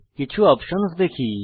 কিছু অপসন্স দেখি